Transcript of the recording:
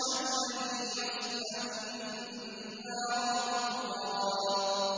الَّذِي يَصْلَى النَّارَ الْكُبْرَىٰ